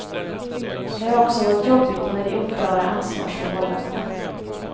Det har också varit jobbigt med de oklara ansvarsförhållandena.